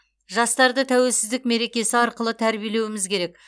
жастарды тәуелсіздік мерекесі арқылы тәрбиелеуіміз керек